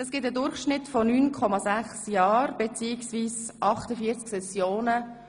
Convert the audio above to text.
Das ergibt einen Durchschnitt von 9,6 Jahren beziehungsweise 48 Sessionen.